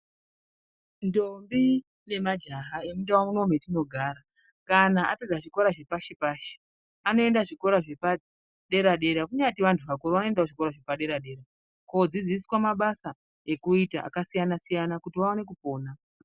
Ndombi nemajaha emundau muno metinogara kana apedza zvikoro zvepashi-pashi anoenda zvikora zvepadera-dera. Kunyati vantu vakuru vanoendawo zvikoro zvepadera-dera koodzidziswa mabasa ekuita akasiyana-siyana kuti vaone kupona.